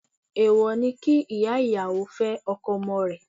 Èwò ni kí ìyá ìyàwó fẹ́ ọkọ ọmọ rẹ̀.